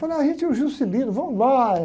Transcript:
Falei, ah, gente, e o Juscelino, vamos lá.